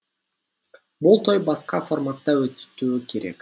бұл той басқа форматта өтуі керек